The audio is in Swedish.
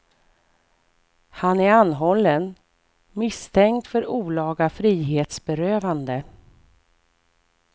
Han är anhållen, misstänkt för olaga frihetsberövande.